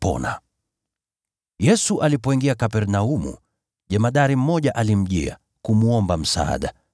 Yesu alipoingia Kapernaumu, jemadari mmoja alimjia, kumwomba msaada,